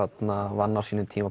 vann á sínum tíma